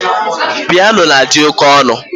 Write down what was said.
Piano na-adị oké ọnụ